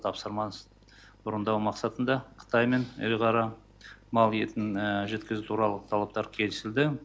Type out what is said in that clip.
тапсырмасын орындау мақсатында қытаймен ірі қара мал етін жеткізу туралы талаптар келісілді